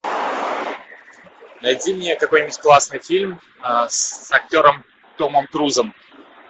найди мне какой нибудь классный фильм с актером томом крузом